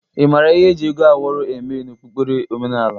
Ị mara ihi eji ego awọrọ eme n'okpukpere omenaala?